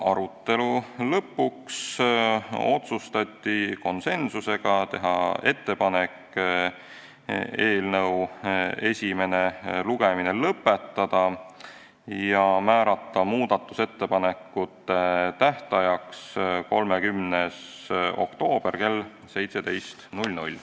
Arutelu lõpus otsustati konsensusega teha ettepanek eelnõu esimene lugemine lõpetada ja määrata muudatusettepanekute tähtajaks 30. oktoober kell 17.